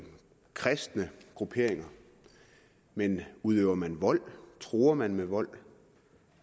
kristne grupperinger men udøver man vold truer man med vold